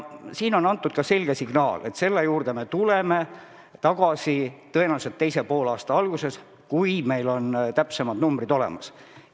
Siin on antud ka selge signaal, et selle juurde me tuleme tagasi tõenäoliselt teise poolaasta alguses, kui meil on täpsemad numbrid olemas.